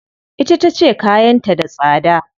Ita tace kayan ta da tsada.